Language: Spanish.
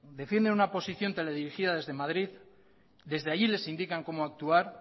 defienden una posición teledirigida desde madrid desde allí les indican como actuar